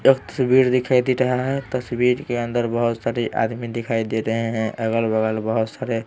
एक तस्वीर दिखाई दे रहा है तस्वीर के अंदर बहुत सारे आदमी दिखाई दे रहे हैं अगल-बगल बहुत सारे--